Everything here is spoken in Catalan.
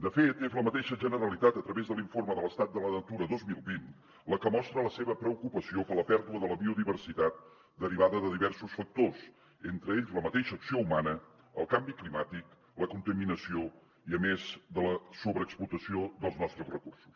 de fet és la mateixa generalitat a través de l’informe de l’estat de la natura dos mil vint la que mostra la seva preocupació per la pèrdua de la biodiversitat derivada de diversos factors entre ells la mateixa acció humana el canvi climàtic la contaminació a més de la sobreexplotació dels nostres recursos